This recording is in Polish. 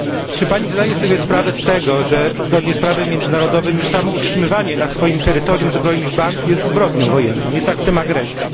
Czy pani zdaje sobie sprawę z tego, że zgodnie z prawem międzynarodowym już samo utrzymywanie na swoim terytorium zbrojnych band jest zbrodnią wojenną, jest aktem agresji.